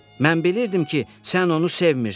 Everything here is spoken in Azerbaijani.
Mən bilirdim ki, sən onu sevmirən.